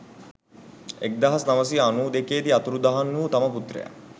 එක්දහස් නවසිය අනු දෙකේ දී අතුරුදහන් වූ තම පුත්‍රයා